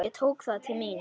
Ég tók það til mín.